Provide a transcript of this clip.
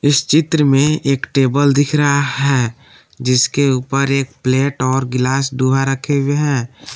इस चित्र में एक टेबल दिख रहा है जिसके ऊपर एक प्लेट और गिलास दोहा रखे हुए हैं।